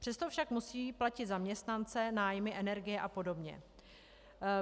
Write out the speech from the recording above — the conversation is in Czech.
Přesto však musí platit zaměstnance, nájmy, energie a podobně.